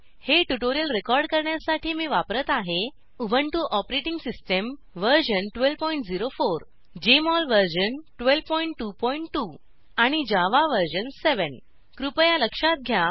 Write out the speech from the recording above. हे tutorial record करण्यासाठी मी वापरात आहे Ubuntu operating system version 1204 JMol version 1222 आणि जावा वर्जन 7 कृपया लक्षात घ्या